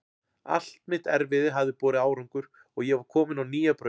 Allt mitt erfiði hafði borið árangur og ég var komin á nýja braut.